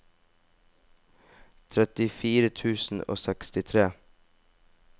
trettifire tusen og sekstitre